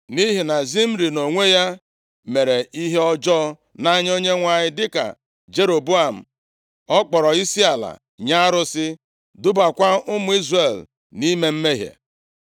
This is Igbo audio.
nʼihi na Zimri nʼonwe ya mere ihe ọjọọ nʼanya Onyenwe anyị dịka Jeroboam. Ọ kpọrọ isiala nye arụsị, dubakwa ụmụ Izrel nʼime mmehie.